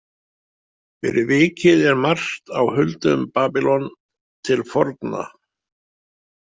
Fyrir vikið er margt á huldu um Babýlon til forna.